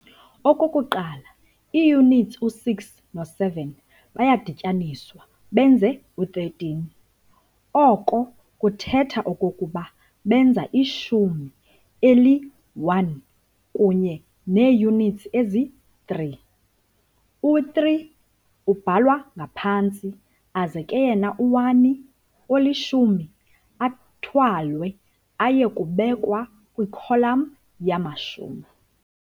Okokuqala ii-units u-6 no-7 bayadityaniswa benze u-13, oko kuthetha okokuba benza ishumi eli-1 kunye nee-units ezi-3, u-3 ubhalwa ngaphantsi aze ke yena u-1 olishumi athwalwe aye kubekwa kwikholam yamashumi.